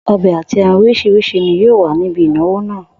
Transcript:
O̩bè àti e̩ran orís̩irís̩i ni yóò wà níbi ìnáwó náà